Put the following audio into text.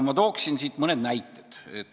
Ma toon mõne näite.